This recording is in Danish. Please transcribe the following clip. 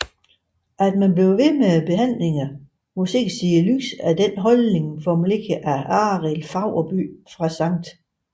At man vedblev med behandlingerne må ses i lyset af en holdning formuleret af Arild Faurbye fra Sct